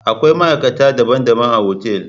Akwai ma'aikata daban-daban a otal.